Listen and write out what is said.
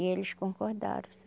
E eles concordaram